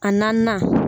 A naaninan